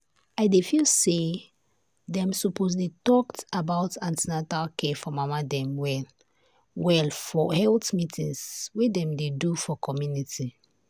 i dey feel say dem suppose dey talked about an ten atal care for mama dem well well for health meetings wey dem dey do for community.